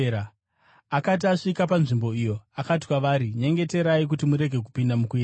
Akati asvika panzvimbo iyo, akati kwavari, “Nyengeterai kuti murege kupinda mukuedzwa.”